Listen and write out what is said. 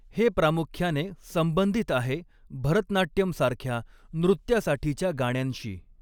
हे प्रामुख्याने संबंधित आहे भरतनाट्यम सारख्या नृत्यासाठीच्या गाण्यांशी.